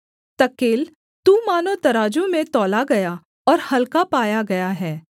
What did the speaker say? तकेल तू मानो तराजू में तौला गया और हलका पाया गया है